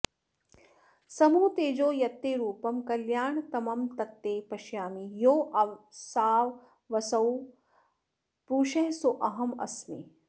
समूह तेजो यत्ते रूपं कल्याणतमं तत्ते पश्यामि योऽसावसौ पुरुषः सोऽहमस्मि